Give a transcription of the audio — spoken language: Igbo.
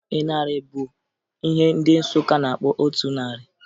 Ịnarị bụ ihe ndị Nsụka na-akpọ otu narị